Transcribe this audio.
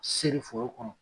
Se nin foro kɔnɔ